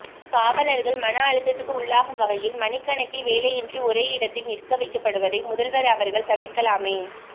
காவலர்கள் மன அழுத்தத்துக்கு உள்ளாகும் வகையில் மணிக்கணக்கில் வேலையின்றி ஒரேயிடத்தில் நிற்கவைக்கப்படுவதை முதல்வர் அவர்கள் தவிர்க்கலாமே